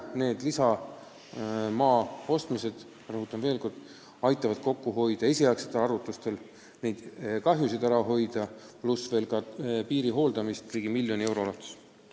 Need lisamaad aitavad raha kokku hoida esialgsete arvutuste kohaselt ligi miljoni euro ulatuses.